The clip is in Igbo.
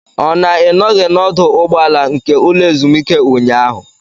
Ọ na Ị nọghị n'ọdụ ụgbọala nke ụlọ ezumike ụnyaahụ?